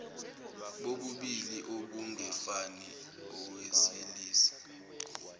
bobulili obungefani owesilisa